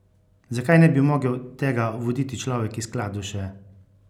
Zakaj ne bi mogel tega voditi človek iz Kladuše?